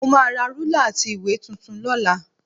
Mo máa ra rúlà àti ìwé tuntun lọ́la